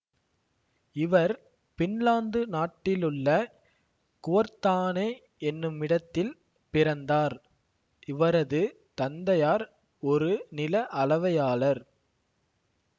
இவர் பின்லாந்து நாட்டிலுள்ள குவொர்தானே என்னுமிடத்தில் பிறந்தார் இவரது தந்தையார் ஒரு நில அளவையாளர்